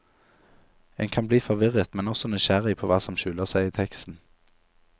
En kan bli forvirret, men også nysgjerrig på hva som skjuler seg i teksten.